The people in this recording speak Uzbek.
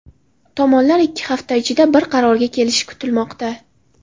Tomonlar ikki hafta ichida bir qarorga kelishi kutilmoqda.